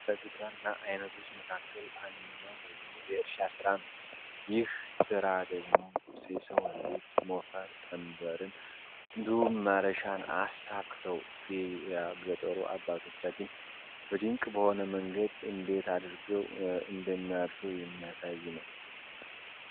ከግብርና ዓይነቶች መካከል አንድኛው ደግሞ የእርሻ ሥራ ነው ይህ ሥራ ደግሞ ሴሰው ልጆች ሞፈር ቀንበርን እንዱም ማረሻን አሳክተው የገጠሮ አባቶቻችን በድንቅ በሆነ መንገድ እንዴት አድርገው እንደሚያርሹ የሚያሳይ ነው።